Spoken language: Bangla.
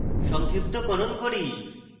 সংক্ষিপ্তকরণ করি